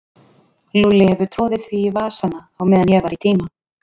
Lúlli hefur troðið því í vasana á meðan ég var í tíma.